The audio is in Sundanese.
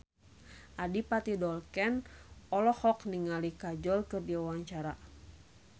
Adipati Dolken olohok ningali Kajol keur diwawancara